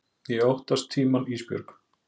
Ég óttast tímann Ísbjörg.